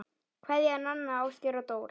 Kveðja, Nanna, Ásgeir og Dóra